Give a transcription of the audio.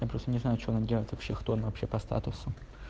я просто не знаю что нам делать вообще кто она вообще по статусу